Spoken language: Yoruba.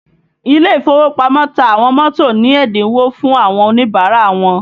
Ile ìfowópamọ́ ta àwọn mọ́tò ní ẹ́dínwó fún àwọn Oníbàárà wọn